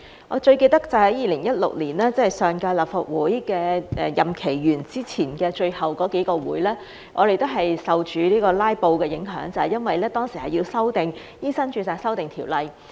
我最記得就是2016年，即上屆立法會的任期完結前的最後那幾次會議，我們都受到"拉布"影響，就是因為當時要修訂《醫生註冊條例》。